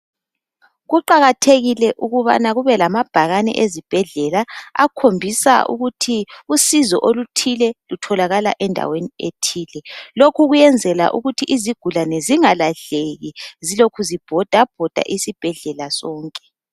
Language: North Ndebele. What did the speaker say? Kuqakathekile ukubana kube lamabhakane ezibhedlela akhombisa ukuthi usizo oluthile lutholakala endaweni ethile. Lokhu kuyenzela ukuthi izigulane zingalahleki zilokhu zibhodabhoda isibhedlela sonke.